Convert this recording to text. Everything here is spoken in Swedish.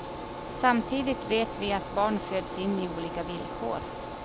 Samtidigt vet vi att barn föds in i olika villkor.